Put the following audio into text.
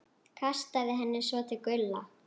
Kastaði henni svo til Gulla.